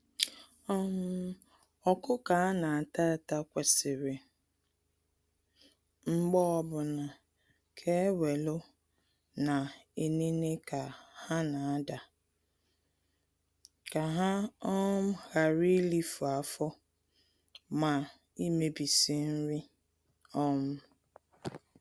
um Ọkụkọ a na-ata ata kwesịrị mgbe ọbụna, ka e welu na-enene ka ha n'adaa, ka ha um ghara ilifu afọ, ma imebisi nri. um